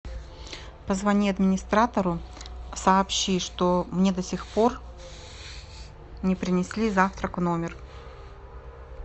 позвони администратору сообщи что мне до сих пор не принесли завтрак в номер